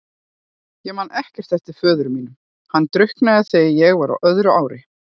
Ég man ekkert eftir föður mínum, hann drukknaði þegar ég var á öðru ári.